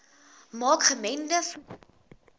maak gemengde voeding